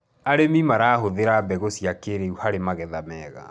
arĩmi marahuthira mbegũ cia kĩiriu harĩ magetha mega